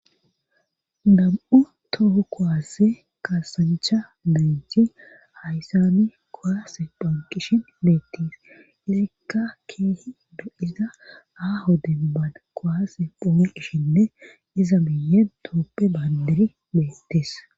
Nam7u toho kowasse kasancha benjhi hayssani kowasse phanqishin beettiis leekka keehi do7iza aho denba koaase phome qishinne iza miye dooppe baandiri beettis